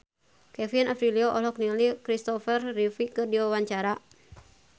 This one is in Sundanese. Kevin Aprilio olohok ningali Christopher Reeve keur diwawancara